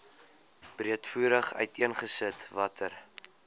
breedvoerig uiteengesit watter